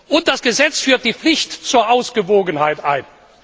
Und das Gesetz führt die Pflicht zur Ausgewogenheit ein.